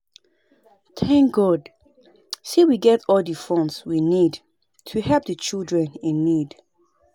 Thank God say we get all the funds we need to help the children in need